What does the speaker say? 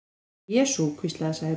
Jesú, hvíslaði Særún.